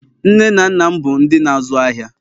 nne na nna m bụ ndị n' azu ahịa